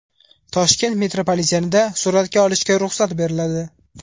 Toshkent metropolitenida suratga olishga ruxsat beriladi .